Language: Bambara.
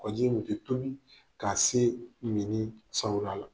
ji in de bi tobi k'a se nege sawura la.